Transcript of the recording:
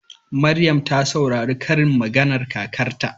Maryam ta saurari karin maganar kakarta.